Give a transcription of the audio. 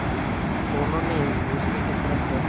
दोनों ने एक दूसरे की तरफ़ देखा